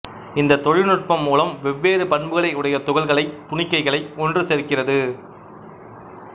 இந்தத் தொழில்நுட்பம் மூலம் வெவ்வேறு பண்புகளையுடைய துகள்களை துணிக்கைகளை ஒன்று சேர்க்கிறது